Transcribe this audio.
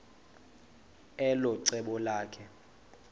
elo cebo lakhe